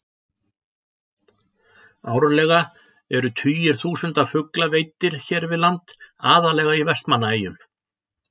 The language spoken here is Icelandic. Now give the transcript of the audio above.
Árlega eru tugir þúsunda fugla veiddir hér við land, aðallega í Vestmannaeyjum.